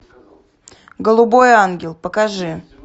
голубой ангел покажи